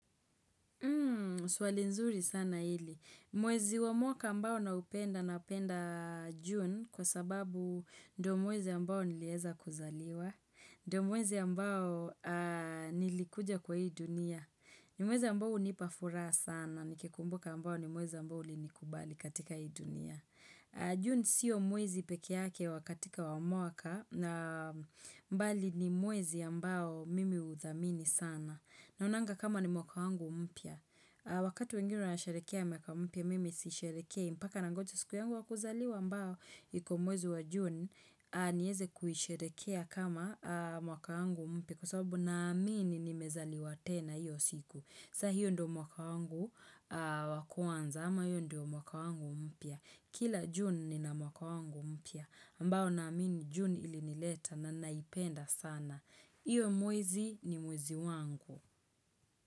Hmm, swali nzuri sana hili. Mwezi wa mwaka ambao naupenda na upenda June kwa sababu ndio mwezi ambao niliweza kuzaliwa, ndio mwezi ambao nilikuja kwa hii dunia. Ni mwezi ambao hunipa furaha sana, nikikumbuka ambao ni mwezi ambao ulinikubali katika hii dunia. June sio mwezi pekee yake wakati wa mwaka, bali ni mwezi ambao mimi uthamini sana. Naonanga kama ni mwaka wangu mpya. Wakati wengine wanasherehekea mwaka umpya, mimi sisherehekei. Mpaka nangoja siku yangu ya kuzaliwa ambao iko mwezi wa june. Nieze kuisherehekea kama mwaka wangu mpya. Kwa sababu naamini nimezaliwa tena hiyo siku. Saa hiyo ndo mwaka wangu wa kwanza. Ama hiyo ndio mwaka wangu mpya. Kila june nina mwaka wangu mpya. Ambao naamini june ilinileta na naipenda sana. Iwe mwezi ni mwezi wangu.